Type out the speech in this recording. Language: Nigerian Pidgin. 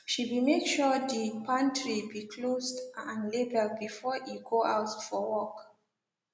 she be make sure de pantry be closed and labeled before e go out for work